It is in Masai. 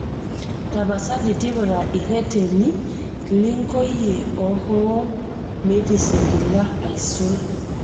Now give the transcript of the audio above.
tapasali tipika ireteni linkoyie ohool metisingila aisul